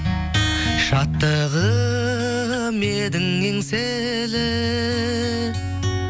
шаттығым едің еңселі